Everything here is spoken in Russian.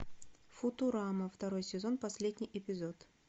футурама второй сезон последний эпизод